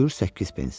Buyur 8 pens.